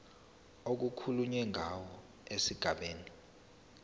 okukhulunywe ngawo esigabeni